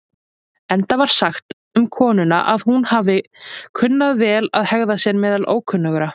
Enda var sagt um konuna að hún hafi kunnað vel að hegða sér meðal ókunnugra.